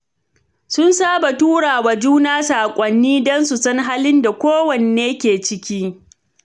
Sun saba tura wa juna saƙonni don su san halin da kowanne ke ciki.